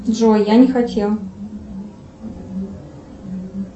джой я не хотела